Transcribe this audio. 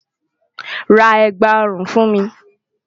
Rá ègbá-orún fún mi